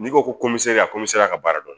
N'i ko ko ka ka baara dɔn